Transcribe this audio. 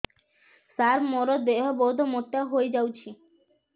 ସାର ମୋର ଦେହ ବହୁତ ମୋଟା ହୋଇଯାଉଛି